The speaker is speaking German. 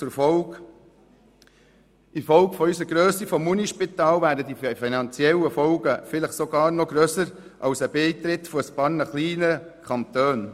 Infolge der Grösse unseres Universitätsspitals wären die finanziellen Folgen eines Nicht-Beitritts vielleicht sogar noch grösser als bei einem Nicht-Beitritt einiger kleiner Kantone.